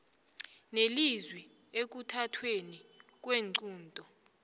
nelizwi ekuthathweni kweenqunto